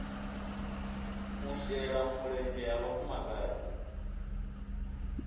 u shela mulenzhe ha vhafumakadzi